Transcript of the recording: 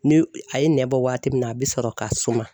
Ni a ye nɛn bɔ waati min na a bɛ sɔrɔ ka suma.